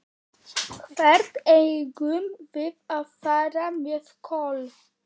Hvert eigum við að fara með Kol?